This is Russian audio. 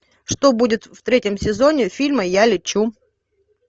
что будет в третьем сезоне фильма я лечу